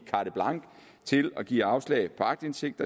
carte blanche til at give afslag på aktindsigt